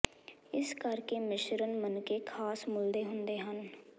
ਇਸੇ ਕਰਕੇ ਮਿਸ਼ਰਣ ਮਣਕੇ ਖ਼ਾਸ ਮੁੱਲ ਦੇ ਹੁੰਦੇ ਹਨ